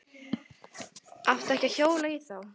Átti ekki að hjóla í þá.